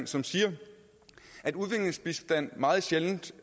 som siger at udviklingsbistand meget sjældent